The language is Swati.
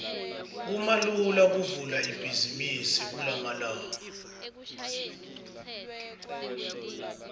kumalula kuvula ibhizimisi kulamalanga